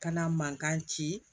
Kana mankan ci